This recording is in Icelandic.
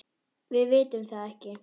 Við vitum það ekki.